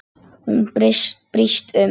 Hún brýst um.